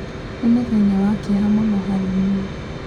Nĩ mũthenya wa kĩeha mũno harĩ niĩ.